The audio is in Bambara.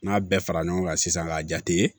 N'a bɛɛ fara ɲɔgɔn kan sisan k'a jate ye